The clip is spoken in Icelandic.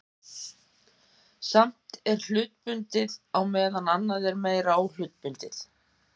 Sumt er hlutbundið á meðan annað er meira óhlutbundið.